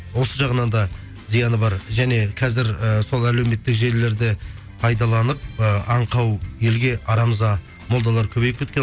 осы жағынан да зияны бар және қазір і сол әлеуметтік желілерді пайдаланып і аңқау елге арамза молдалар көбейіп кеткен